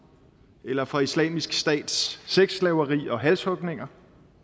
eller fra islamisk stats sexslaveri og halshugninger